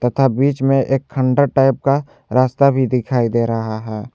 तथा बीच में एक खनतर टाइप का रास्ता भी दिखाई दे रहा है।